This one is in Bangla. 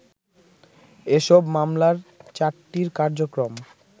এসব মামলার চারটির কার্যক্রম